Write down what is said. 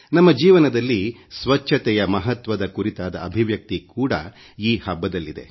ನಮ್ಮ ಜೀವನದಲ್ಲಿ ಸ್ವಚ್ಛತೆಯ ಮಹತ್ವದ ಕುರಿತಾದ ಅಭಿವ್ಯಕ್ತಿ ಕೂಡಾ ಈ ಹಬ್ಬದಲ್ಲಿದೆ